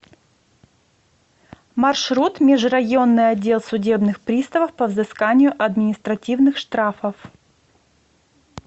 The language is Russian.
маршрут межрайонный отдел судебных приставов по взысканию административных штрафов